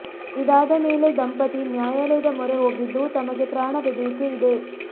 ಇದಾದ ಮೇಲೆ ದಂಪತಿ ನ್ಯಾಯಾಲಯದ ಮೊರೆ ಹೋಗಿದ್ದು ತಮಗೆ ಪ್ರಾಣ ಬೆದರಿಕೆ ಇದೆ